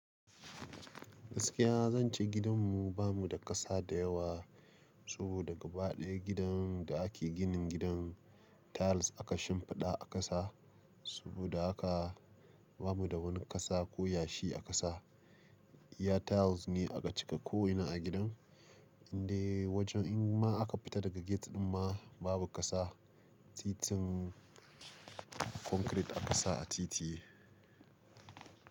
Gaskiya zan ce gidanmu bamu da ƙasa da yawa. Saboda gaba ɗaya gidan da ake ginin gidan tiles aka shimfiɗa a ƙasa. Saboda haka ba mu da wani ƙasa ko yashi a ƙasa. Iya tiles ne aka cika ko'ina a gidan. Inde wajen in ma aka fita daga gate ɗin ma babu ƙasa. Titin concrete aka sa a titi.